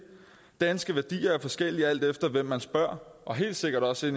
danske værdier er forskellige alt efter hvem man spørger og helt sikkert også i